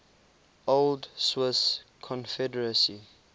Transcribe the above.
old swiss confederacy